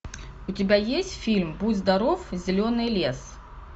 у тебя есть фильм будь здоров зеленый лес